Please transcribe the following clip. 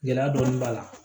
Gɛlɛya dɔɔnin b'a la